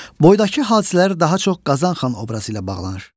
Boydakı hadisələr daha çox Qazan xan obrazı ilə bağlanır.